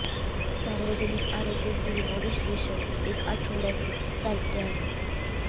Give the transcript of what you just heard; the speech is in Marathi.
सार्वजनिक आरोग्य सुविधा विश्लेषण एक आठवड्यात चालते आहे